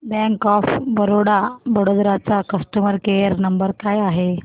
bank of Baroda Vadodara चा customer care number काय आहे